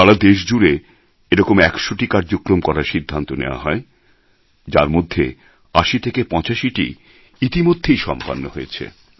সারা দেশ জুড়ে এরকম একশোটি কার্যক্রম করার সিদ্ধান্ত নেওয়া হয় যার মধ্যে ৮০ ৮৫টি ইতিমধ্যেই সম্পন্ন হয়েছে